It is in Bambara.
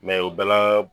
o bɛɛ la